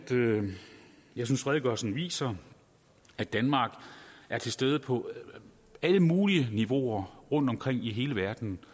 jeg synes redegørelsen viser at danmark er til stede på alle mulige niveauer rundtomkring i hele verden